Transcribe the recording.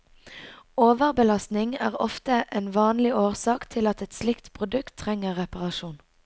Overbelastning er ofte en vanlig årsak til at et slikt produkt trenger reparasjon.